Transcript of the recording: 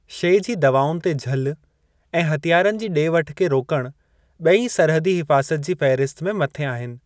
शे जी दवाउनि ते झल ऐं हथियारनि जी ॾे-वठु खे रोकणु ॿेई सरहदी हिफ़ाज़त जी फ़हरिस्त में मथे आहिनि।